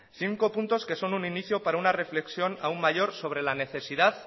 cinco puntos que son un inicio para una reflexión aún mayor sobre la necesidad